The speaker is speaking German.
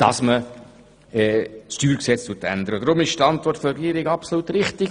Darum ist die Antwort der Regierung absolut richtig.